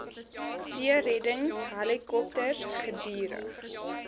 seereddings helikopters gedurig